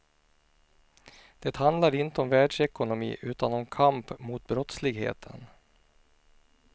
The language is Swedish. Det handlar inte om världsekonomi utan om kamp mot brottsligheten.